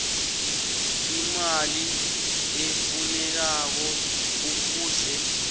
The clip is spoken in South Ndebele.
imali efunekako kufuze